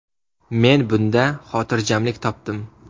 Men bunda xotirjamlik topdim.